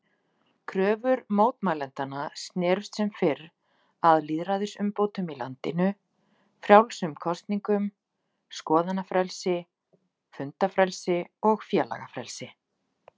Kröfur mótmælendanna snerust sem fyrr að lýðræðisumbótum í landinu, frjálsum kosningum, skoðanafrelsi, fundafrelsi og félagafrelsi.